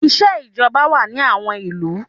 Iṣẹ́ ìjọba wà ní àwọn ìlú.